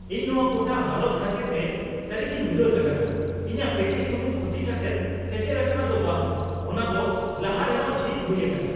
ᱤᱧ ᱱᱚᱶᱟ ᱜᱚᱴᱟ ᱦᱟᱞᱚᱛ ᱛᱮ ᱠᱷᱟᱹᱛᱤᱨᱛᱮ ᱥᱟᱹᱨᱤᱜᱮᱧ ᱩᱫᱟᱹᱥ ᱟᱠᱟᱱᱟ ᱾ ᱤᱧᱟᱹᱜ ᱯᱮᱠᱮᱡ ᱥᱩᱢᱩᱝ ᱠᱷᱩᱛᱤ ᱠᱟᱛᱮᱜ ᱥᱮᱴᱮᱨ ᱟᱠᱟᱱᱟ ᱫᱚ ᱵᱟᱝ, ᱚᱱᱟᱫᱚ ᱞᱟᱦᱟ ᱨᱮᱦᱚᱸ ᱡᱷᱤᱡ ᱦᱩᱭ ᱟᱠᱟᱱᱟ ᱾